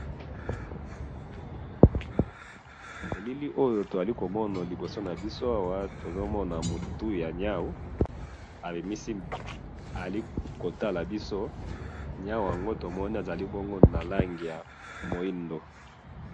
elili oyo tozali komona liboso nabiso awa tozali komona mutu ya nyawu azali bongo komona biso nyahu yango azali na langi ya mwindu